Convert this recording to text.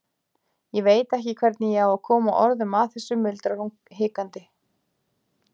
Ég veit ekki hvernig ég á að koma orðum að þessu, muldrar hún hikandi.